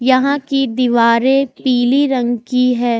यहां की दीवारें पीली रंग की है।